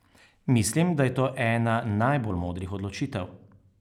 Mislim, da je to ena najbolj modrih odločitev.